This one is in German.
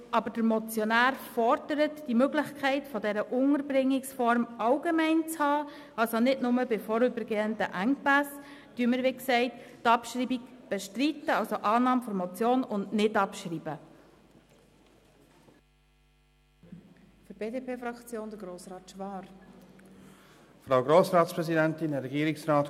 Da der Motionär jedoch fordert, diese Unterbringungsform allgemein vorzusehen, also nicht nur bei vorübergehenden Engpässen, bestreiten wir die Abschreibung.